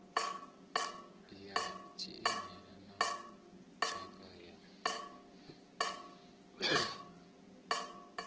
ya tshimela na tshakha ya